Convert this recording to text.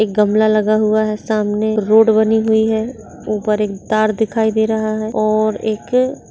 एक गमला लगा हुआ है सामने रोड बनी हुई है ऊपर एक तार दिखाई दे रहा है और एक --